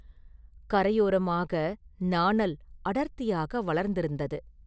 கரையோரமாக நாணல் அடர்த்தியாக வளர்ந்திருந்தது.